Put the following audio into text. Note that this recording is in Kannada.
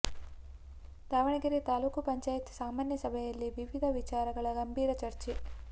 ದಾವಣಗೆರೆ ತಾಲ್ಲೂಕು ಪಂಚಾಯ್ತಿ ಸಾಮಾನ್ಯ ಸಭೆಯಲ್ಲಿ ವಿವಿಧ ವಿಚಾರಗಳ ಗಂಭೀರ ಚರ್ಚೆ